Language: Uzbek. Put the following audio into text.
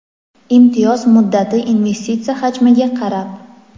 imtiyoz muddati investitsiya hajmiga qarab:.